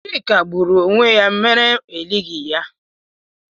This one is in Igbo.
Chike gburu onwe ya ya mere elighị ya